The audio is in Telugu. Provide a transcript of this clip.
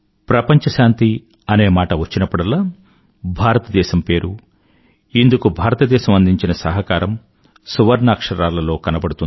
ప్రపంచ శాంతి అనే మాట వచ్చినప్పుడల్లా భారతదేశం పేరు ఇందుకు భారతదేశం అందించిన సహకారం సువర్ణాక్షరాలలో కనబడుతుంది